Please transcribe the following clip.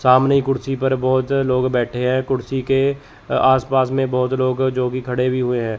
सामने कुर्सी पर बहोत लोग बैठे हैं कुर्सी के आस पास में बहोत लोग जोकि खड़े भी हुए हैं।